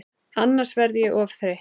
Annars verð ég of þreytt.